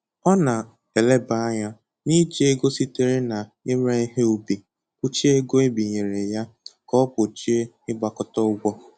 Ọ na elebe anya n'iji ego sitere na ire ihe ubi kwụchie ego ebinyere ya ka o gbochie ịkpakọta ụgwọ